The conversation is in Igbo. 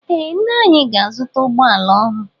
Ee ńnà anyị ga-azuta ụgbọala ọhụụ.